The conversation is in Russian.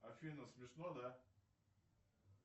афина смешно да